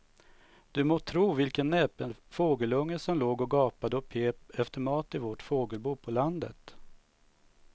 Du må tro vilken näpen fågelunge som låg och gapade och pep efter mat i vårt fågelbo på landet.